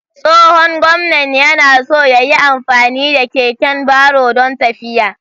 Tsohon gwamnan yana so ya yi amfani da keken baro don tafiya.